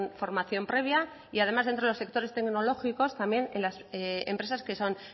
formación previa y además dentro de los sectores tecnológicos también en las empresas que son